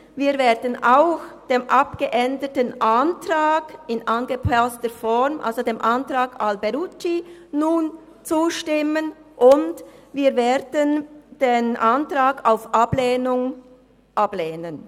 Wir werden auch dem abgeänderten Antrag in angepasster Form, also dem Antrag Alberucci, nun zustimmen, und wir werden den Antrag auf Ablehnung ablehnen.